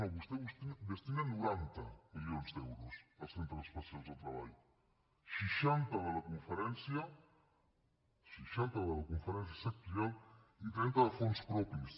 no vostè destina noranta milions d’euros als centres especials de treball seixanta de la conferència seixanta de la conferència sectorial i trenta de fons propis